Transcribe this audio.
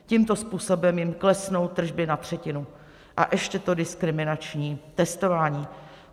Tímto způsobem jim klesnou tržby na třetinu a ještě to diskriminační testování.